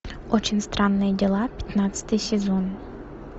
очень странные дела пятнадцатый сезон